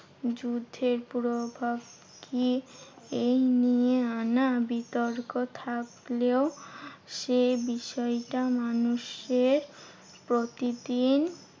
যুদ্ধের পুরো কি এই নিয়ে আনা বিতর্ক থাকলেও সেই বিষয়টা মানুষের প্রতিদিন